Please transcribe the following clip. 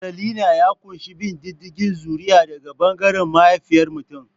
Matrilinial ya ƙunshi bin diddigin zuri'a daga ɓangaren mahaifiyar mutum.